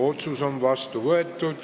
Otsus on vastu võetud.